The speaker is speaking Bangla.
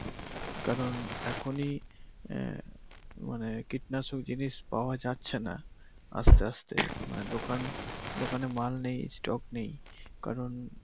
কারন এখনি কীটনাশক জিনিস পাওয়া যাচ্ছে নাহ দোকানে মাল নেই স্টক নেই কারন